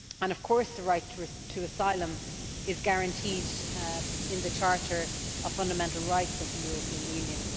Of course, the right to asylum is guaranteed in the Charter of Fundamental Rights of the European Union.